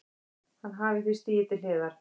Hann hafi því stigið til hliðar